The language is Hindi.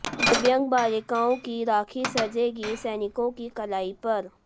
दिव्यांग बालिकाओं की राखी सजेगी सैनिकों की कलाई पर